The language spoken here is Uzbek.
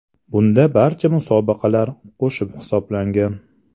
Bunda barcha musobaqalar qo‘shib hisoblangan.